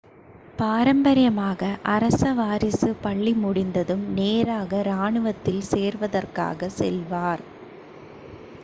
பாரம்பரியமாக அரச வாரிசு பள்ளி முடிந்ததும் நேராக இராணுவத்தில் சேர்வதற்காக செல்வார்